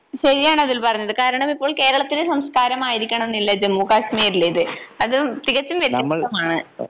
ശരിയാണ് അതുൽ പറഞ്ഞത് കാരണമിപ്പോൾ കേരളത്തിലെ സംസ്കാരം ആയിരിക്കണമെന്നില്ല ജമ്മുകാശ്മീരിലേത്. അത് തികച്ചും വ്യത്യസ്തമാണ്.